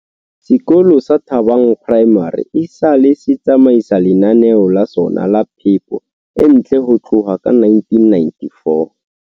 Sekolo sa Thabang Primary esale se tsamaisa lenaneo la sona la phepo e ntle ho tloha ka 1994.